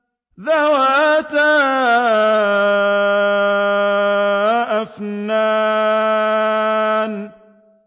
ذَوَاتَا أَفْنَانٍ